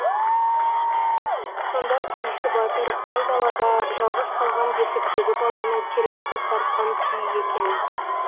сонда күйші батыр айдалада жалғыз қалған бесіктегі баланы тербетіп тартқан күйі екен